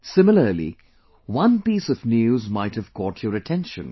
similarly, one piece of news might have caught your attention